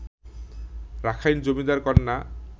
Rakhine জমিদার-কন্যা